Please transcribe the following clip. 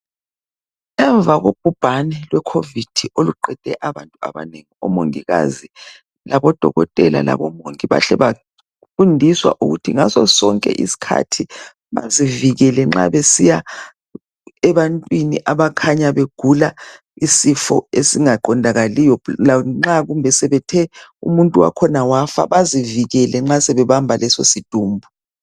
Emva kobhubhane lweCovid oluqede abantu abanengi, omongikazi labodokotela labantu bonke bahle bafundiswa ukuthi ngaso sonke isikhathi bazivikele nxa besiya ebantwini abakhanya begula isifo esingaqondakaliyo lanxa kumbe sebethe umuntu wakhona wafa bazivikele nxa sebebamba leso sidumbu.